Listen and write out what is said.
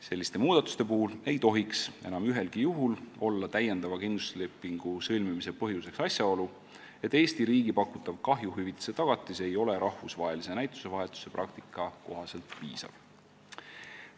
Selliste muudatuste puhul ei tohiks enam ühelgi juhul täiendava kindlustuslepingu sõlmimise põhjuseks olla asjaolu, et Eesti riigi pakutav kahjuhüvitise tagatis ei ole rahvusvahelise näitusevahetuse praktika kohaselt piisav.